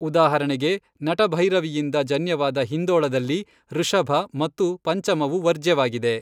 ಉದಾಹರಣೆಗೆ, ನಟಭೈರವಿಯಿಂದ ಜನ್ಯವಾದ ಹಿಂದೋಳದಲ್ಲಿ ಋಷಭ ಮತ್ತು ಪಂಚಮವು ವರ್ಜ್ಯವಾಗಿವೆ.